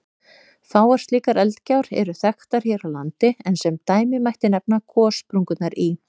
Fáar slíkar eldgjár eru þekktar hér á landi, en sem dæmi mætti nefna gossprungurnar í